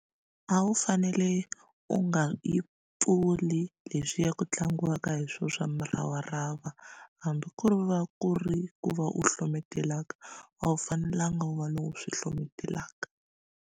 A wu fanele u nga yi pfuli leswiya ku tlangiwaka hi swona swa muravarava hambi ku ri va ku ri ku va u hlometelaka a wu fanelanga u va lowu swi hlometelaka.